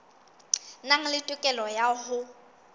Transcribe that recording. nang le tokelo ya ho